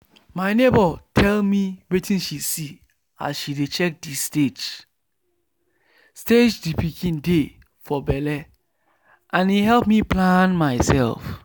my neighbour tell me wetin she see as she dey check the stage stage the pikin dey for belle and e help me plan myself.